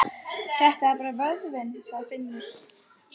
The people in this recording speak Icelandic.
Þetta er bara vöðvinn, sagði Finnur.